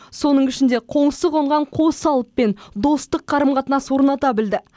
соның ішінде қоңсы қонған қос алыппен достық қарым қатынас орната білді